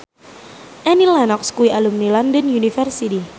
Annie Lenox kuwi alumni London University